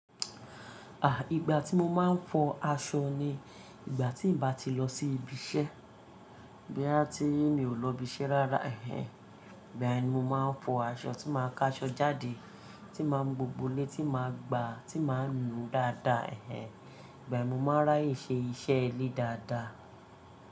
À, ìgbà tí mo máa ń fọ aṣọ ni ìgbà tí ì bá ti lọ sí ibi iṣẹ́. Bí a tí mi ò lọ ibi iṣẹ́ rárá ẹ̀hen, igbayen ni mo máa ń fọ aṣọ tí màá ka aṣọ jáde, tí màá mu gbóbo lé, tí màá gbà, tí màá nu dáadáa ẹ̀hen. Igba yẹn ni mo n máa rà aye ṣe iṣẹ́ ilé dáadáa.